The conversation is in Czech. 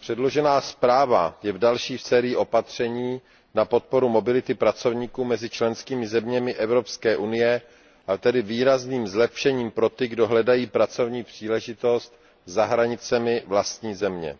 předložená zpráva je další v sérii opatření na podporu mobility pracovníků mezi členskými zeměmi Evropské unie a je tedy výrazným zlepšením pro ty, kdo hledají pracovní příležitost za hranicemi vlastní země.